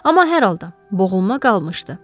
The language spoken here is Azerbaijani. Amma hər halda, boğulma qalmışdı.